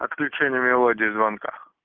отключение мелодии звонка